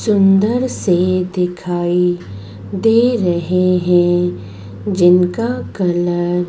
सुंदर से दिखाई दे रहे हैं जिनका कलर --